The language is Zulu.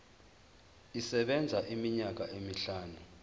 isebenza iminyaka emihlanu